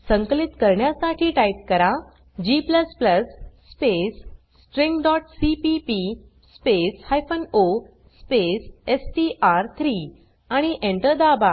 संकलित करण्यासाठी टाइप करा g स्पेस stringसीपीपी स्पेस o स्पेस एसटीआर3 आणि Enter दाबा